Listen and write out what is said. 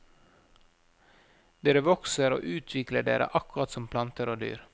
Dere vokser og utvikler dere akkurat som planter og dyr.